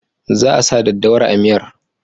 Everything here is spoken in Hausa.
Za a sa daddawar a miyar.